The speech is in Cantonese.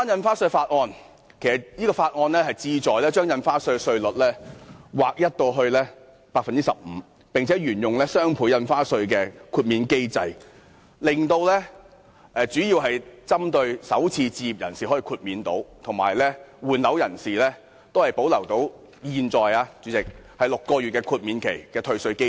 《條例草案》旨在把印花稅稅率劃一為 15%， 並且沿用雙倍從價印花稅的豁免機制，主要是讓首次置業人士可獲豁免，而換樓人士則可保留現時6個月豁免期的退稅機制。